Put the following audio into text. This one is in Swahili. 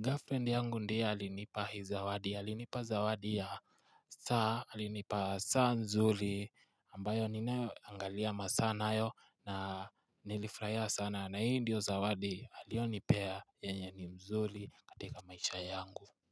girlfriend yangu ndiye alinipa hi zawadi alinipa zawadi ya saa alinipa saa nzuri ambayo ninaangalia masaa nayo na nilifurahia sana na hii ndiyo zawadi aliyonipea yenye ni mzuri katika maisha yangu.